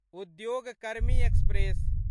उद्योग कर्मी एक्सप्रेस